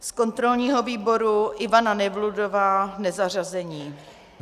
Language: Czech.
Z kontrolního výboru Ivana Nevludová, nezařazená.